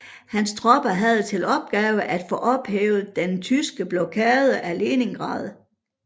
Hans tropper havde til opgave at få ophævet den tyske blokade af Leningrad